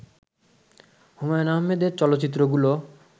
হুমায়ূন আহমেদের চলচ্চিত্রগুলো